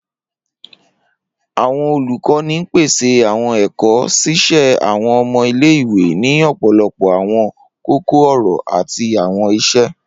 Awọn olukọni n pese awọn ẹkọ, ṣiṣe awọn ọmọ ile-iwe ni ọpọlọpọ awọn koko-ọrọ ati awọn iṣe.